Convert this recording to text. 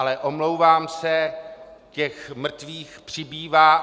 Ale omlouvám se, těch mrtvých přibývá.